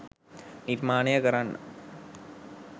නිර්මාණය කරන්න.